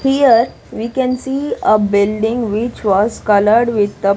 Here we can see a building which was colored with the --